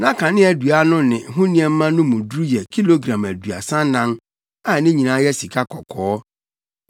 Na kaneadua no ne ho nneɛma no mu duru yɛ kilogram aduasa anan a ne nyinaa yɛ sikakɔkɔɔ.